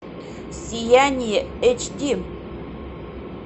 сияние эйч ди